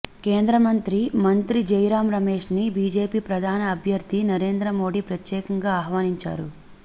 కేంద్రమంత్రి మంత్రి జైరాం రమేష్ ని బీజేపీ ప్రధాని అభ్యర్ధి నరేంద్ర మోడీ ప్రత్యేకంగా ఆహ్వానించారు